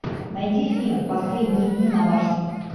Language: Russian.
найди фильм последние дни на марсе